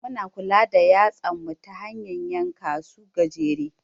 Muna kula da yatsan mu ta hanyan yanka su gajere.